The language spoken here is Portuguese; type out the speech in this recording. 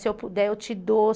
Se eu puder, eu te dou.